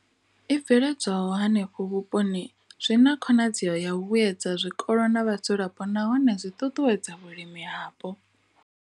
I bveledzwaho henefho vhuponi zwi na khonadzeo ya u vhuedza zwikolo na vhadzulapo nahone zwi ṱuṱuwedza vhulimi hapo.